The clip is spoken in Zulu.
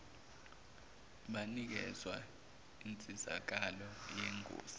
banikezwa insizakalo yengosi